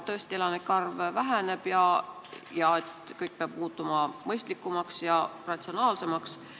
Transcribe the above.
Tõesti, elanike arv väheneb ja kõik peab muutuma mõistlikumaks ja ratsionaalsemaks.